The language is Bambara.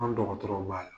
An dɔgɔtɔrɔw b'a la